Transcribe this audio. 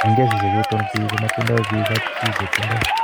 En kesiisyek chuuton, Biik komatindo biik kap kapchi chetindo.